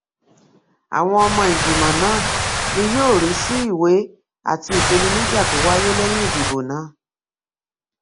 àwọn ọmọ ìgbìmọ náà ni yóò rí sí ìwé àti ìpèníjà tó wáyé lẹyìn ìdìbò náà